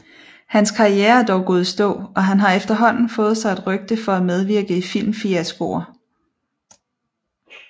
Hans karriere er dog gået i stå og han har efterhånden fået sig et rygte for at medvirke i filmfiaskoer